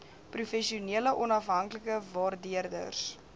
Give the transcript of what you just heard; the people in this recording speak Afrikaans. professionele onafhanklike waardeerders